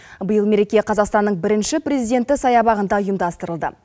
биыл мереке қазақстанның бірінші президенті саябағында ұйымдастырылды